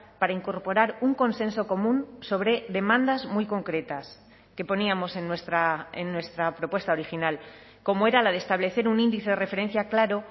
para incorporar un consenso común sobre demandas muy concretas que poníamos en nuestra propuesta original como era la de establecer un índice de referencia claro